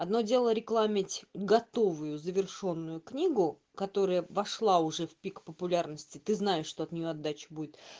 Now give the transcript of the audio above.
одно дело рекламить готовую завершённую книгу которая вошла уже в пик популярности ты знаешь что от неё отдача будет